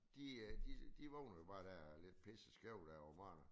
De øh de de vågner jo bare der lidt pisse skæv derovre fra